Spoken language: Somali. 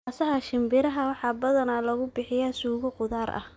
Naasaha shinbiraha waxaa badanaa lagu bixiyaa suugo khudaar ah.